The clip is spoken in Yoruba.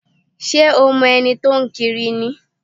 Ṣé o mo ẹni tó ń kiri ni?